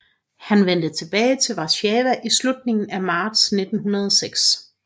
Han vendte tilbage til Warszawa i slutningen af marts 1906